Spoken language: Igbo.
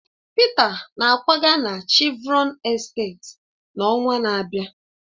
Peter na-akwaga na Chevron esteeti n'ọnwa na-abịa